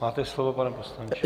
Máte slovo, pane poslanče.